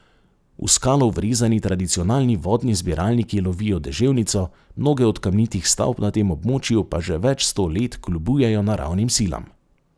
V skalo vrezani tradicionalni vodni zbiralniki lovijo deževnico, mnoge od kamnitih stavb na tem območju pa že več sto let kljubujejo naravnim silam.